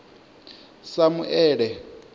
samuele